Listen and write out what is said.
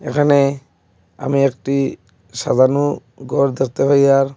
এখানে আমি একটি সাজানো ঘর দেখতে পাই আর--